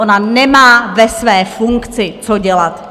Ona nemá ve své funkci co dělat!